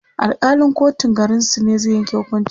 Alkalin kotun garinsu ne zai Yanke hukuncin